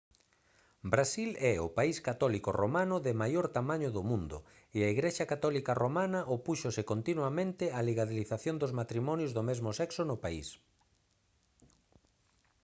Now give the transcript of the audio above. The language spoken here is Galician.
brasil é o país católico romano de maior tamaño do mundo e a igrexa católica romana opúxose continuamente á legalización dos matrimonios do mesmo sexo no país